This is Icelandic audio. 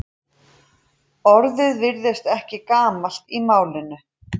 Orðið virðist ekki gamalt í málinu.